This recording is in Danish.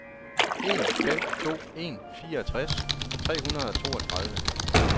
en fem to en fireogtres tre hundrede og toogtredive